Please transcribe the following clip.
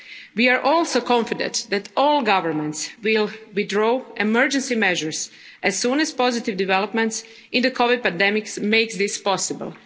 States. We are also confident that all governments will withdraw emergency measures as soon as positive developments in the COVID 19 pandemic makes this